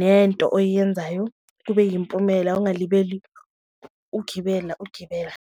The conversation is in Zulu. nento oyiyenzayo kube yimpumela, ungalibeli ugibela, ugibela.